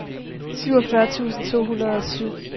syvogfyrre tusind to hundrede og syv